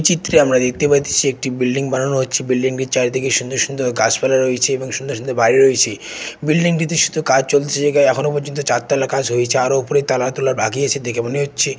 চিত্রে আমরা দেখতে পাইতেছি একটি বিল্ডিং বানানো হচ্ছে। বিল্ডিং -টি চারদিকে সুন্দর সুন্দর গাছপালা রয়েছে এবং সুন্দর সুন্দর বাড়ি রয়েছি । বিল্ডিং -টিতে শুধু কাজ চলছে গা এখনো পর্যন্ত চারতলা কাজ হয়েছে আরও ওপরের তালার তুলার বাকি আছে দেখে মনে হচ্ছে --